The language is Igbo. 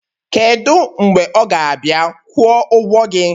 kedu mgbe ọ ga-abịa kwụọ ụgwọ gị?